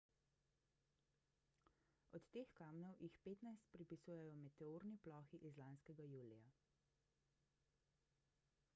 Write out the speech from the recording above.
od teh kamnov jih petnajst pripisujejo meteorni plohi iz lanskega julija